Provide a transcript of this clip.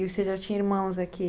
E você já tinha irmãos aqui?